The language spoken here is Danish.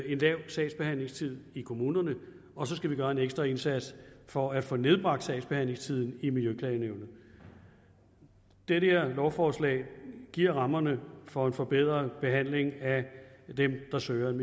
en lav sagsbehandlingstid i kommunerne og så skal vi gøre en ekstra indsats for at få nedbragt sagsbehandlingstiden i miljøklagenævnet det her lovforslag giver rammerne for en forbedret behandling af dem der søger en